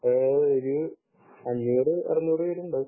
ഓഹ് ഒരു അഞ്ഞൂറ് അറുനൂറു പേരുണ്ടാവും